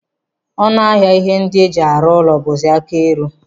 Ọnụ ahịa ihe ndị e ji arụ ụlọ bụzi aka eru.